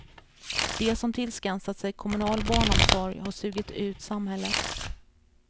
De som tillskansat sig kommunal barnomsorg har sugit ut samhället.